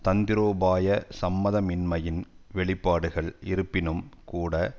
தந்திரோபாய சம்மதமின்மையின் வெளிப்பாடுகள் இருப்பினும் கூட